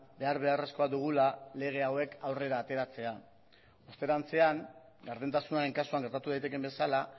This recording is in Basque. behar beharrezkoa dugula lege hauek aurrera ateratzea osterantzean gardentasunaren kasuan gertatu daitekeen bezala